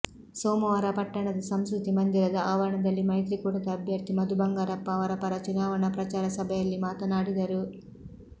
ಸೋಮವಾರ ಪಟ್ಟಣದ ಸಂಸ್ಕೃತಿ ಮಂದಿರದ ಆವರಣದಲ್ಲಿ ಮೈತ್ರಿಕೂಟದ ಅಭ್ಯರ್ಥಿ ಮಧು ಬಂಗಾರಪ್ಪ ಅವರ ಪರ ಚುನಾವಣಾ ಪ್ರಚಾರ ಸಭೆಯಲ್ಲಿ ಮಾತನಾಡಿದರು